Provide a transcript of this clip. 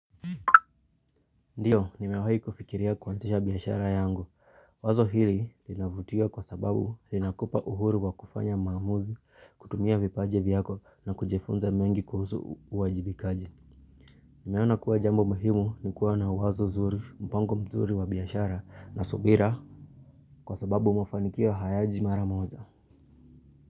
Ndiyo, nimewahi kufikiria kuazisha biashara yangu. Wazo hili linavutia kwa sababu linakupa uhuru wa kufanya maamuzi, kutumia vipaji vyako na kujifunza mengi kuhusu uwajibikaji. Nimeona kuwa jambo muhimu ni kuwa na wazo zuri, mpango mzuri wa biashara na subira. Kwa sababu mafanikio hayaji mara moja.